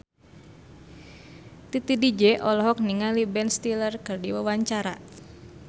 Titi DJ olohok ningali Ben Stiller keur diwawancara